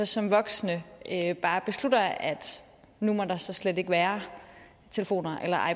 som voksne bare beslutter at nu må der slet ikke være telefoner eller